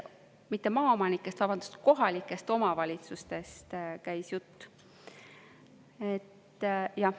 Mitte maaomanikest, vabandust, kohalikest omavalitsustest käis jutt.